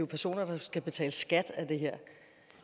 personer der skal betale skat af det her